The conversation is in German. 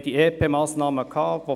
Wir haben die EP-Massnahmen erlebt.